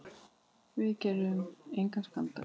Við gerum engan skandal.